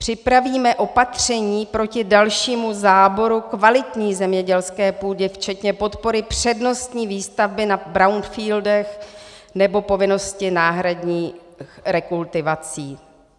"Připravíme opatření proti dalšímu záboru kvalitní zemědělské půdě včetně podpory přednostní výstavby na brownfieldech nebo povinnosti náhradních rekultivací."